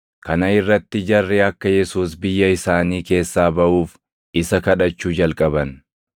Kana irratti jarri akka Yesuus biyya isaanii keessaa baʼuuf isa kadhachuu jalqaban.